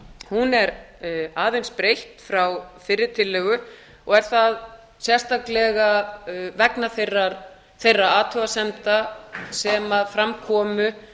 hún er aðeins breytt frá fyrri tillögu og er það sérstaklega vegna þeirra athugasemda sem fram komu